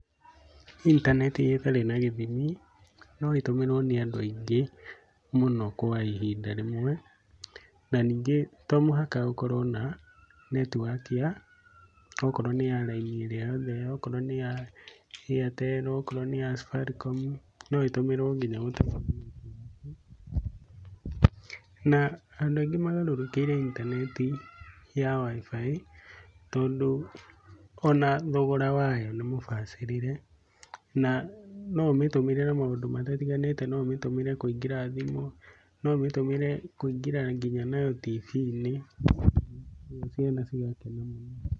Intaneti ĩtarĩ na gĩthimi no ĩtũmĩrwo nĩ andũ aingĩ mũno kwa ihinda rĩmwe. Na ningĩ to mũhaka ũkorwo na netiwaki ya okorwo nĩ ya raini ĩrĩa o yothe, okorwo nĩ ya Airtel okorwo nĩ ya Safaricom, no ĩtumĩrwo nginya. Na andũ aingĩ magarũrũkĩire intaneti ya WIFI tondũ ona thogora wayo nĩ mũbacĩrĩre na no ũmĩtumĩre na maũndũ matiganĩte, no ũmĩtũmĩre kũingĩra thimũ, no ũmĩtũmĩre kũingĩra nginya nayo TV-inĩ, ũguo ciana cigakena mũno.